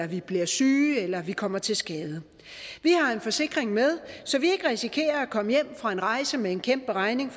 vi bliver syge eller vi kommer til skade vi har en forsikring med så vi ikke risikerer at komme hjem fra en rejse med en kæmperegning